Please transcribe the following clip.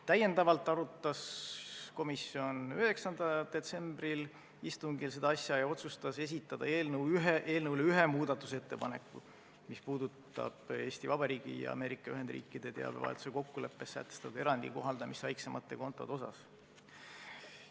Täiendavalt arutas komisjon seda asja 9. detsembri istungil ja otsustas esitada eelnõu kohta ühe muudatusettepaneku, mis puudutab Eesti Vabariigi ja Ameerika Ühendriikide teabevahetuse kokkuleppes sätestatud erandi kohaldamist väiksemate kontode suhtes.